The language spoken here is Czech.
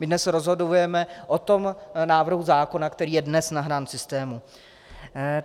My dnes rozhodujeme o tom návrhu zákona, který je dnes nahrán v systému.